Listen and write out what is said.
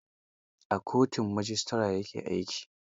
A kotun majistare ya ke aiki.